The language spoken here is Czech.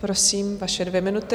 Prosím, vaše dvě minuty.